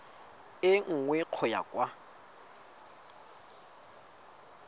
e nngwe go ya kwa